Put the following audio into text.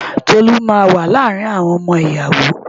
Tolú máa wà lára àwọn ọmọ ìyàwó.